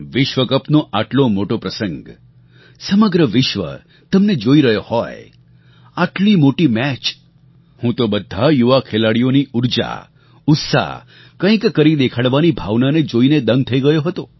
વિશ્વકપનો આટલો મોટો પ્રસંગ સમગ્ર વિશ્વ તમને જોઈ રહ્યો હોય આટલી મોટી મેચ હું તો બધા યુવા ખેલાડીઓની ઊર્જા ઉત્સાહ કંઈક કરી દેખાડવાની ભાવનાને જોઈને દંગ થઇ ગયો હતો